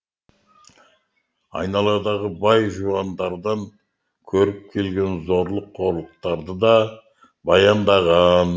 айналадағы бай жуандардан көріп келген зорлық қорлықтарды да баяндаған